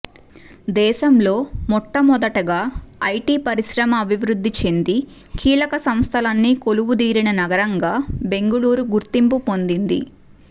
దేశంలో మొట్టమొదటగా ఐటీ పరిశ్రమ అభివృద్ధి చెంది కీలక సంస్థలన్నీ కొలువుదీరిన నగరంగా బెంగళూరు గుర్తింపు పొందింది